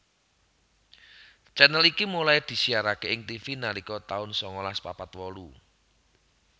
channel iki mulai disiaraké ing Tivi nalika tahun sangalas papat wolu